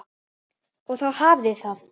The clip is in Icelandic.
Og þá hafiði það!